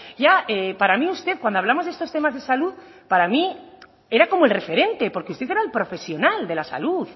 ya para mí usted cuando hablamos de estos temas de salud para mí era como el referente porque usted era el profesional de la salud